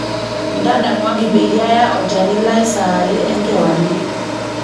ntadamuaki peyie aya olchani lai saa are enkewarie